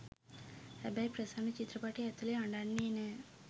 හැබැයි ප්‍රසන්න චිත්‍රපටය ඇතුළේ අඬන්නෙ නෑ.